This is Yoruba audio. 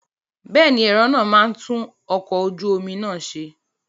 Bẹ́ẹ̀ni, ẹlẹ́rọ náà máa tún ọkọ̀ ojú omi náà ṣe.